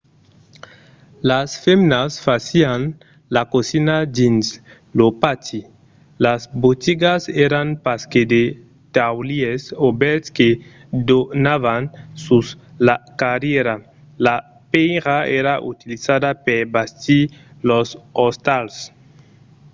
las femnas fasián la cosina dins lo pati; las botigas èran pas que de taulièrs obèrts que donavan sus la carrièra. la pèira èra utilizada per bastir los ostals